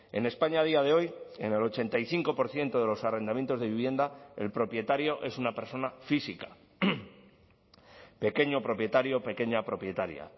en españa a día de hoy en el ochenta y cinco por ciento de los arrendamientos de vivienda el propietario es una persona física pequeño propietario pequeña propietaria